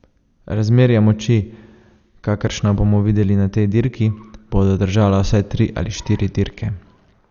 Razmerja moči, kakršna bomo videli na tej dirki, bodo držala vsaj tri ali štiri dirke.